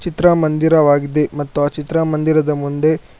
ಚಿತ್ರಮಂದಿರವಾಗಿದೆ ಮತ್ತು ಆ ಚಿತ್ರಮಂದಿರದ ಮುಂದೆ.